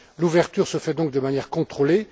L'ouverture se fait donc de manière contrôlée.